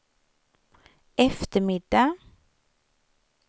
eftermiddag